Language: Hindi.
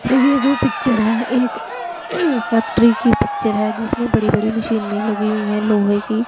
यह जो पिक्चर है एक फैक्ट्री की पिक्चर है जिसमें बड़ी बड़ी मशीने लगी हुई है लोहे की।